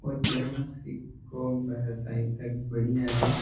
ओ जे.एम.सी. को है शायद तक बड़िया है।